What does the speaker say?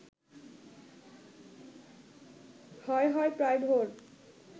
হয় হয় প্রায় ভোর